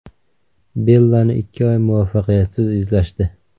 Bellani ikki oy muvaffaqiyatsiz izlashdi.